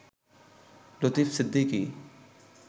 Latif Siddiqui